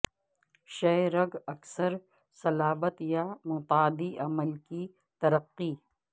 شہ رگ اکثر صلابت یا متعدی عمل کی ترقی